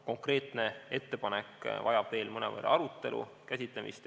Konkreetne ettepanek vajab veel mõnevõrra arutelu, selle teema käsitlemist.